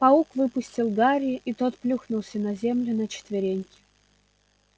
паук выпустил гарри и тот плюхнулся на землю на четвереньки